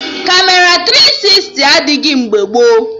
Kamera tiri sisti adịghị mgbe gboo